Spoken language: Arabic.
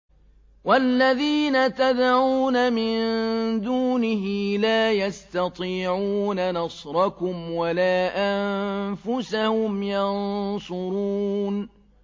وَالَّذِينَ تَدْعُونَ مِن دُونِهِ لَا يَسْتَطِيعُونَ نَصْرَكُمْ وَلَا أَنفُسَهُمْ يَنصُرُونَ